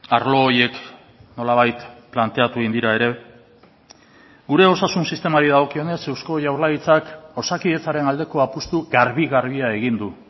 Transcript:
arlo horiek nolabait planteatu egin dira ere gure osasun sistemari dagokionez eusko jaurlaritzak osakidetzaren aldeko apustu garbi garbia egin du